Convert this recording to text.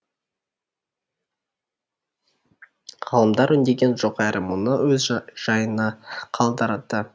ғалымдар үндеген жоқ әрі мұны өз жайына қалдырды